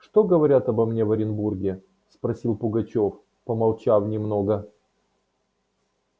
что говорят обо мне в оренбурге спросил пугачёв помолчав немного